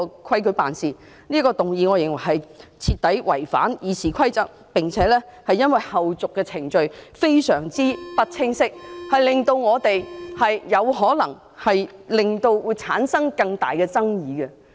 我認為他這項議案徹底違反《議事規則》，並且因為相關後續程序非常不清晰，令我們......有可能會產生更大的爭議。